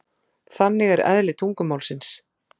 Þannig er eðli tungumálsins.